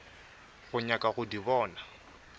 go nyaka go di bona